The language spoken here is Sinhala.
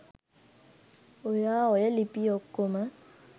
ඔයා ඔය ලිපි ඔක්කොම